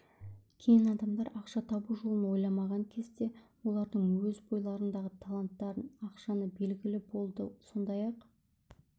кейін адамдар ақша табу жолын ойламаған кезде олардың өз бойларындағы таланттарын ашқаны белгілі болды сондай-ақ